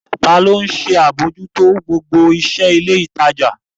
Ta ló ń ṣe àbójútó gbogbo iṣẹ́ ilé ìtajà?